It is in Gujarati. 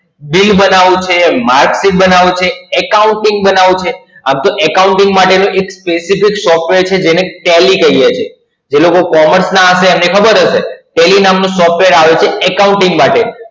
Bill બનાવવું છે, MarkSheet બનાવવું છે, Accounting બનાવવું છે. આમ તો Accounting માટે એક Specific Software છે જેને Tally કહીએ છીએ. જે લોકો Commerce ના હશે એમને ખબર હશે. Tally નામનું Software આવે છે Accounting માટે